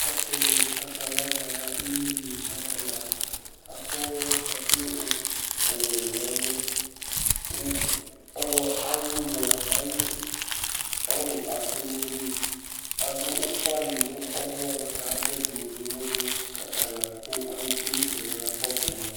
Asɩnɩ akala kala imenu ayʋ ala Akɔ ɛkʋ of ɔwɛ nʋ ɛlʋ kʋ ɔɣlɔ ayʋ ʋmɔ ayʋ ɔlʋ asɛ nʋ ayili Adʋ ʋfanɩ nʋ ɔmɔ la kʋ adʋ ɛdɩnɩ bɩ nʋ ʋvʋ la kʋ akala la kʋ alʋ tsue nʋ ɩtsɛdɩ la kʋ akakɔsʋ ma